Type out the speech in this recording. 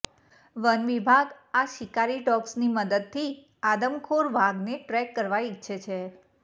one વિભાગ આ શિકારી ડોગ્સની મદદથી આદમખોર વાઘણને ટ્રેક કરવા ઇચ્છે છે